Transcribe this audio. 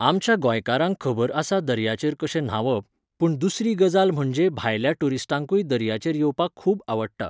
आमच्या गोंयकारांक खबर आसा दर्याचेर कशें न्हांवप, पूण दुसरी गजाल म्हणजे भायल्या टुरीस्टांकूय दर्याचेर येवपाक खूब आवडटा